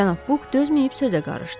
Cənab Buk dözməyib sözə qarışdı.